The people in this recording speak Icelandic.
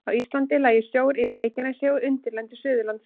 Á Íslandi lægi sjór yfir Reykjanesi og undirlendi Suðurlands.